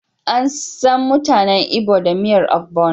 Ansan mutanen Igbo da miyar ogbono.